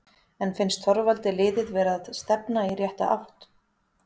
En finnst Þorvaldi liðið vera að stefna í rétta átt?